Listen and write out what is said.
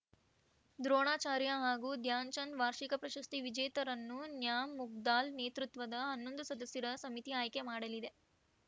ದ್ರೋಣಾಚಾರ್ಯ ಹಾಗೂ ಧ್ಯಾನ್‌ಚಂದ್‌ ವಾರ್ಷಿಕ ಪ್ರಶಸ್ತಿ ವಿಜೇತರನ್ನು ನ್ಯಾಮುದ್ಗಲ್‌ ನೇತೃತ್ವದ ಹನ್ನೊಂದು ಸದಸ್ಯರ ಸಮಿತಿ ಆಯ್ಕೆ ಮಾಡಲಿದೆ